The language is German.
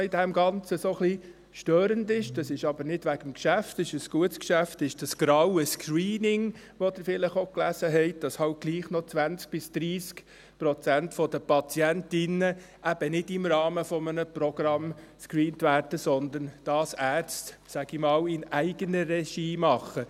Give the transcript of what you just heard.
Ein Punkt, der in dem Ganzen etwas störend ist, aber nicht wegen des Geschäfts, denn es ist ein gutes Geschäft, ist das «graue Screening», von dem Sie vielleicht auch gelesen haben: 20 bis 30 Prozent der Patientinnen werden eben nicht im Rahmen eines Programms gescreent, sondern Ärzte machen es in eigener Regie, um es einmal so zu sagen.